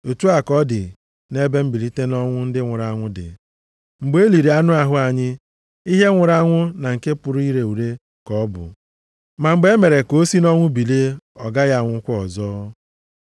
Otu a ka ọ dị nʼebe mbilite nʼọnwụ ndị nwụrụ anwụ dị. Mgbe e liri anụ ahụ anyị, ihe nwụrụ anwụ na nke pụrụ ire ure ka ọ bụ, ma mgbe e mere ka o si nʼọnwụ bilie, ọ gaghị anwụkwa ọzọ.